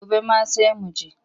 Gobe ma sai mu je.